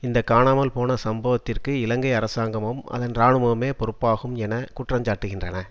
இந்த காணாமல் போன சம்பவத்திற்கு இலங்கை அரசாங்கமும் அதன் இராணுவமுமே பொறுப்பாகும் என குற்றஞ்சாட்டுகின்றன